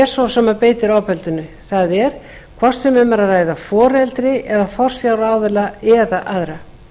svo sem beitir ofbeldinu það er hvort sem um er að ræða foreldri eða forsjáraðila eða aðra